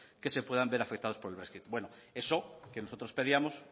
que se puedan ver afectados por el brexit bueno eso que nosotros pedíamos